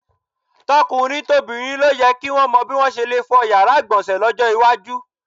To̩kùnrin tobìnrin ló ye̩ ki ó mo̩ bí wo̩n s̩e le fo̩ yàrá ìgbò̩nsè̩ ló̩jó̩ iwájú.